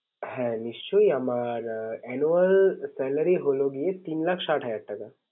হ্যাঁ নিশ্চই আমার Annual salay হলো গিয়ে তিন লাখ ষাট হাজার টাকা